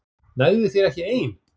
Nægði þér ekki ein?